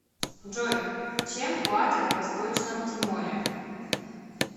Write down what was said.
джой чем платят в восточном тиморе